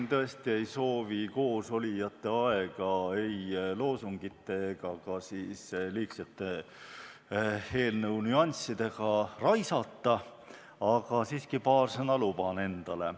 Ma tõesti ei soovi siin koosolijate aega ei loosungite ega ka liigsete eelnõu nüanssidega raisata, aga siiski paar sõna luban endale.